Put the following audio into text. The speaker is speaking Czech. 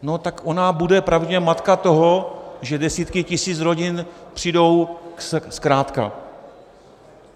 No tak ona bude pravděpodobně matka toho, že desítky tisíc rodin přijdou zkrátka.